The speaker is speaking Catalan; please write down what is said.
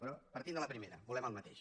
però partint de la primera volem el mateix